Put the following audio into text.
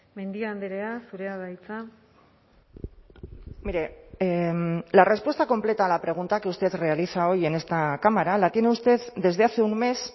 mendia andrea zurea da hitza mire la respuesta completa a la pregunta que usted realiza hoy en esta cámara la tiene usted desde hace un mes